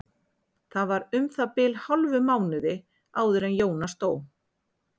Það var um það bil hálfum mánuði áður en Jónas dó.